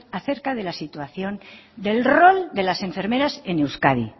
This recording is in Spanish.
acerca de la situación del rol de las enfermeras en euskadi